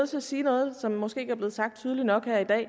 til at sige noget som måske ikke er blevet sagt tydeligt nok her i dag